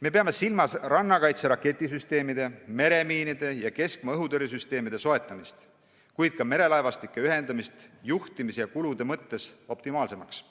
Me peame silmas rannakaitse raketisüsteemide, meremiinide ja keskmaa õhutõrjesüsteemide soetamist, kuid ka merelaevastike ühendamist juhtimise ja kulude mõttes optimaalseks